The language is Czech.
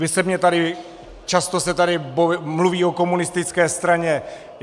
Vy se mně tady, často se tady mluví o komunistické straně.